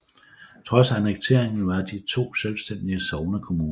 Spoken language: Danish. Trods annekteringen var de to selvstændige sognekommuner